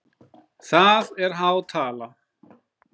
Það er há tala?